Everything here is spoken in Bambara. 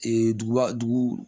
Ee duguba dugu